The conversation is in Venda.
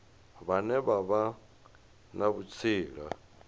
vhane vha vha na vhutsila